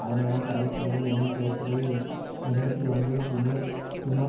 அதன்மூலம் கடலுக்கு அடியில் எண்ணெய் கையிருப்புகளை எண்பத்தி ஒன்பது திமேர் திமோர்